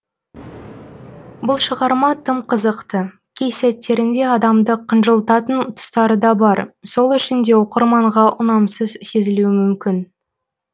бұл шығарма тым қызықты кей сәттерінде адамды қынжылтатын тұстары да бар сол үшін де оқырманға ұнамсыз сезілуі мүмкін